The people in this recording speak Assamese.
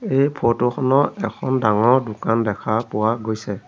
এই ফটো খনৰ এখন ডাঙৰ দোকান দেখা পোৱা গৈছে।